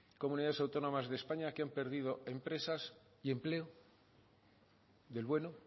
comunidades autónomas de españa que han perdido empresas y empleos del bueno